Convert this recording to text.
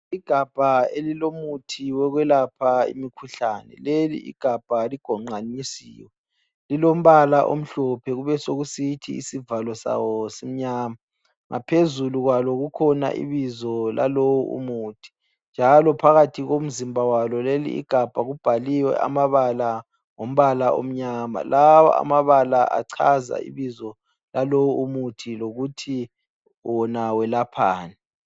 Igabha elilomuthi wokwelapha imkhuhlane leli gabha ligonqamisiwe, lilombala omhlophe kube sokusithi isivalo sawo simnyama. Ngaphezulu kwalo kukhona ibizo lalowo umuthi njalo phakathi komzimba walo Ieli igabha kubhaliwe amabala ngombala omnyama. Lawa amabala achaza ibizo lalowo umuthi lokuthi wona welaphani.